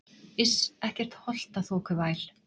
Iss, ekkert holtaþokuvæl.